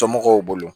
Somɔgɔw bolo